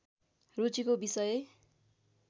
रुचिको विषय